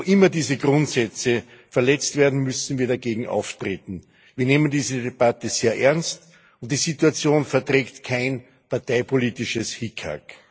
Wo immer diese Grundsätze verletzt werden, müssen wir dagegen auftreten. Wir nehmen diese Debatte sehr ernst, und die Situation verträgt kein parteipolitisches Hickhack